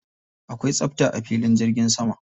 Akwai tsafta a filin jirgi sama.